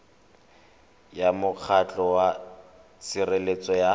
ya mokgatlho wa tshireletso ya